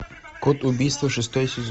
код убийства шестой сезон